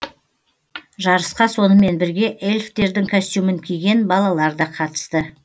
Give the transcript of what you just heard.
жарысқа сонымен бірге эльфтердің костюмін киген балалар да қатысты